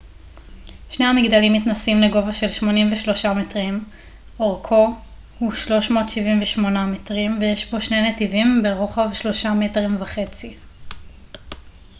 שני המגדלים מתנשאים לגובה של 83 מטרים אורכו הוא 378 מטרים ויש בו שני נתיבים ברוחב שלושה מטרים וחצי